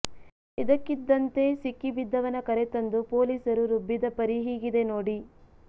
ಇದಕ್ಕಿದ್ದಂತೆ ಸಿಕ್ಕಿ ಬಿದ್ದವನ ಕರೆತಂದು ಪೊಲೀಸರು ರುಬ್ಬಿದ ಪರಿ ಹೀಗಿದೆ ನೋಡಿ